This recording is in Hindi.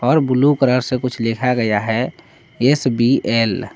और ब्लू कलर से कुछ लिखा गया है एस_बी_एल